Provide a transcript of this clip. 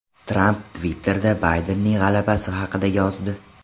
Tramp Twitter’da Baydenning g‘alabasi haqida yozdi.